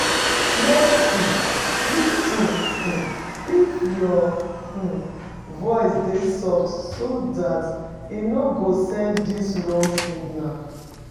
Make um di tone um if your um voice dey soft so dat e no go send di wrong signal